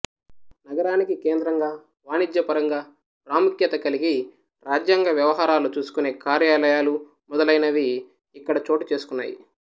నగరానికి కేంద్రంగా వాణిజ్య పరంగా ప్రాముఖ్యత కలిగి రాజ్యాంగ వ్యవహారాలు చూసుకునే కార్యాలయాలు మొదలైనవి ఇక్కడ చోటు చేసుకున్నాయి